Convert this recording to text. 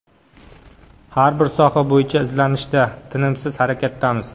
Har bir soha bo‘yicha izlanishda, tinimsiz harakatdamiz.